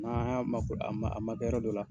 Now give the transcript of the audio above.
N'an y'an a man a man kɛ yɔrɔ dɔ la.